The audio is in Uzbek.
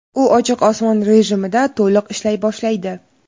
u "ochiq osmon" rejimida to‘liq ishlay boshlaydi.